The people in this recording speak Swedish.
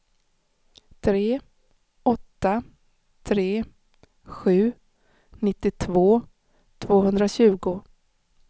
tre åtta tre sju nittiotvå tvåhundratjugo